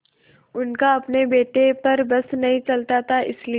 उनका अपने बेटे पर बस नहीं चलता था इसीलिए